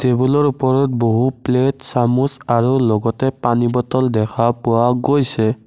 টেবুলৰ উপৰত বহু প্লেট চামুচ আৰু লগতে পানী বটল দেখা পোৱা গৈছে।